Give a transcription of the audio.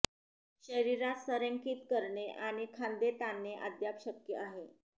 शरीरास संरेखित करणे आणि खांदे ताणणे अद्याप शक्य आहे